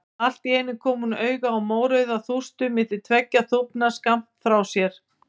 Allt í einu kom hún auga á mórauða þústu milli tveggja þúfna skammt frá sér.